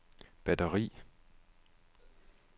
batteri